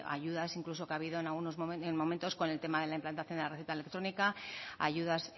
ayudas incluso que ha habido en momentos con el tema de la implantación de la receta electrónica ayudas